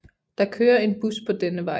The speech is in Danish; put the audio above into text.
Der kører en bus på denne vej